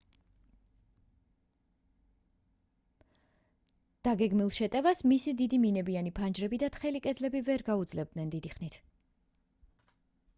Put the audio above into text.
დაგეგმილ შეტევას მისი დიდი მინებიანი ფანჯრები და თხელი კედლები ვერ გაუძლებდნენ დიდი ხნით